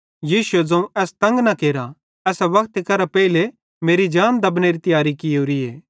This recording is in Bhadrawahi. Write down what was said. यीशुए ज़ोवं एस तंग न केरा एसां वक्तेरे पेइले मेरी जान दब्बनेरी तियारी कियोरीए